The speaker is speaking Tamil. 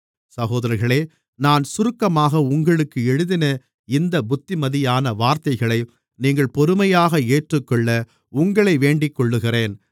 சகோதரர்களே நான் சுருக்கமாக உங்களுக்கு எழுதின இந்தப் புத்திமதியான வார்த்தைகளை நீங்கள் பொறுமையாக ஏற்றுக்கொள்ள உங்களை வேண்டிக்கொள்ளுகிறேன்